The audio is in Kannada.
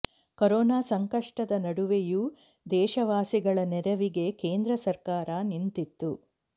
ಕೊರೊನಾ ಸಂಕಷ್ಟದ ನಡುವೆಯೂ ದೇಶವಾಸಿಗಳ ನೆರವಿಗೆ ಕೇಂದ್ರ ಸರ್ಕಾರ ನಿಂತಿತ್ತು